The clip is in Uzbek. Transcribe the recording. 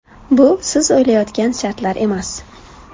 Bu siz o‘ylayotgan shartlar emas.